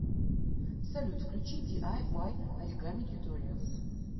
салют включи ди ай уай оригами тьюториалз